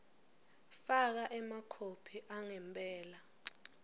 faka emakhophi angempela